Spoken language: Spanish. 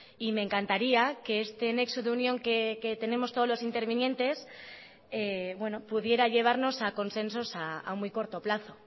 y me encantaría que este nexo de unión que tenemos todos los intervinientes pudiera llevarnos a consensos a muy corto plazo